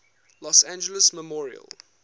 los angeles memorial